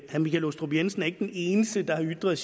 herre michael aastrup jensen ikke er den eneste der har ytret